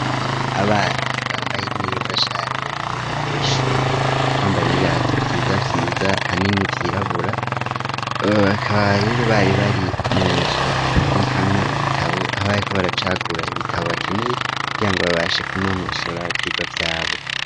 Abana bambaye neza cane umwambaro w'ishure bambaye n'ibirato vyiza vyiza hanini vyirabura bakaba rero bari bari munzu babikamwo ibitabo aho bariko baracagura ibitabo bakeneye kugira ngo babashe kunonosora ivyigwa vyabo.